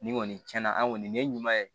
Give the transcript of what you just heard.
Nin kɔni cɛn na an kɔni nin ye ɲuman ye